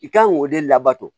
I kan k'o de labato